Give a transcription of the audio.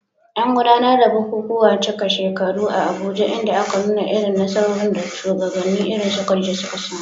An gudanar da bukukuwan cika shekaru a Abuja inda aka nuna irin nasarorin da shugabanni irin su Khadija suka samu.